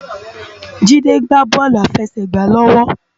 Jide gbá bòlú àláfèsègbá lòwò